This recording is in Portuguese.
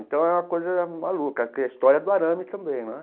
Então é uma coisa maluca, que a história do arame também né.